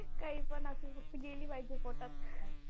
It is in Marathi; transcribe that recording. काहीपण असो फक्त गेली पाहिजे पोटात.